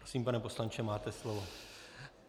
Prosím, pane poslanče, máte slovo.